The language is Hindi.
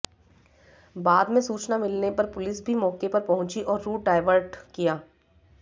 बाद में सूचना मिलने पर पुलिस भी मौके पर पहुंची और रूट डायवर्ट